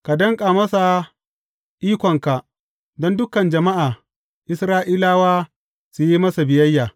Ka danƙa masa ikonka don dukan jama’a Isra’ilawa su yi masa biyayya.